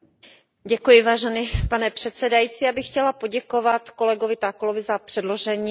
Pane předsedající, já bych chtěla poděkovat kolegovi Takkulovi za předložení této zprávy.